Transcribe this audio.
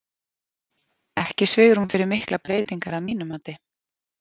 Ekki svigrúm fyrir miklar breytingar að mínu mati.